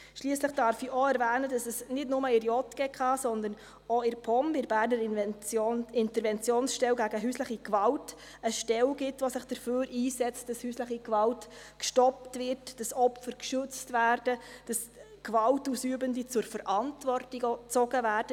Schliesslich darf ich auch erwähnen, dass es nicht nur in der JGK, sondern auch in der POM, bei der Berner Interventionsstelle gegen häusliche Gewalt, eine Stelle gibt, die sich dafür einsetzt, dass häusliche Gewalt gestoppt wird, dass Opfer geschützt werden, dass Gewalt Ausübende zur Verantwortung gezogen werden.